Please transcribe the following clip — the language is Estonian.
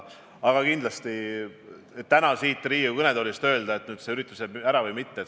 Aga kindlasti on täna ennatlik siit Riigikogu kõnetoolist öelda, kas see üritus jääb ära või mitte.